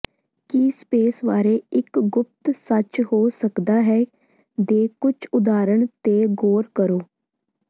ਕੀ space ਬਾਰੇ ਇੱਕ ਗੁਪਤ ਸੱਚ ਹੋ ਸਕਦਾ ਹੈ ਦੇ ਕੁਝ ਉਦਾਹਰਣ ਤੇ ਗੌਰ ਕਰੋ